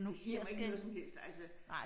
Det siger mig ikke noget som helst altså